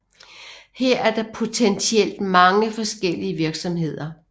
Her er der potentielt mange forskellige virksomheder